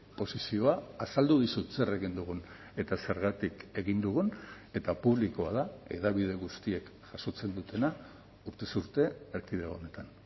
posizioa azaldu dizut zer egin dugun eta zergatik egin dugun eta publikoa da hedabide guztiek jasotzen dutena urtez urte erkidego honetan